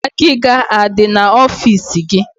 Agịga adi na ọfịs gi